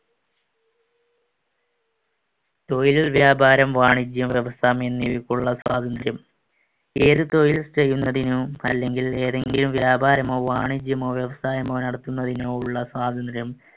തൊഴിൽ, വ്യാപാരം, വാണിജ്യം, വ്യവസായം എന്നിവക്കുള്ള സ്വാതന്ത്ര്യം. ഏതു തൊഴിൽ ചെയ്യുന്നതിനും അല്ലെങ്കിൽ ഏതെങ്കിലും വ്യാപാരമോ വാണിജ്യമോ വ്യവസായമോ നടത്തുന്നതിനോ ഉള്ള സ്വാതന്ത്ര്യം.